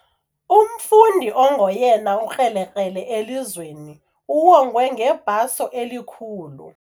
Umfundi ongoyena ukrelekrele elizweni uwongwe ngebhaso elikhulu.